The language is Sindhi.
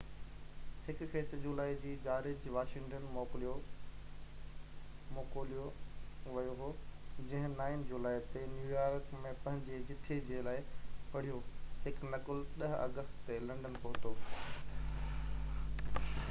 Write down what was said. هڪ کي 6 جولائي جو جارج واشنگٽن موڪوليو ويو هو جنهن 9 جولائي تي نيويارڪ ۾ پنهنجي جٿي جي لاءِ پڙهيو هڪ نقل 10 آگسٽ تي لنڊن پهتو